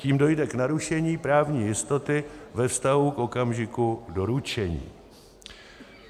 Tím dojde k narušení právní jistoty ve vztahu k okamžiku doručení.